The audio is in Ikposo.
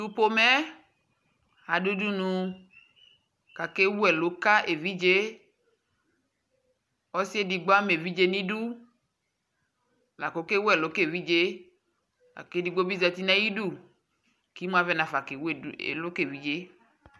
Tʋ pomɛ yɛ adʋ udunu kʋ akewu ɛlʋ ka evidze yɛ Ɔsɩ edigbo ama evidze nʋ idu la kʋ ɔkewu ɛlʋ ka evidze yɛ la kʋ edigbo bɩ zati nʋ ayidu kʋ imu avɛ nafa kewu ɛlʋ ka evidze yɛ